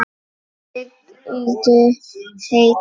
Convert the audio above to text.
Sigldu heill.